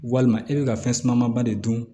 Walima e bɛ ka fɛn suma ba de dun